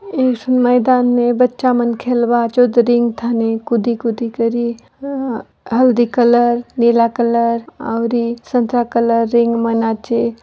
इस मैदान में बच्चा मन खेल बाचे कूदी-कूदी करी हल्दी कलर नीला कलर औरी संतरा कलर रिंग मा नाचे।